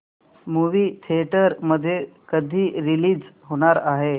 movie theatre मध्ये कधी release होणार आहे